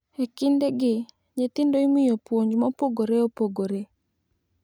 Ekindegi, nyithindo imiyo puonj mopogore opogore.